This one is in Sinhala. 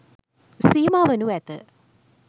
සීමා වනු ඇත.